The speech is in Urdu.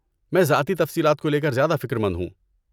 میں ذاتی تفصیلات کو لے کر زیادہ فکر مند ہوں۔